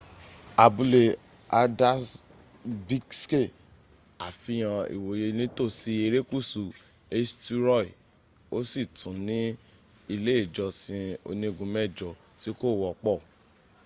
abúlé haldarsvikṣe àfihàn ìwòye nítòsí erékùsù eysturoy o sì tún ní ilé ìjọsìn onígun mẹjọ tí kò̀ wọ́pọ̀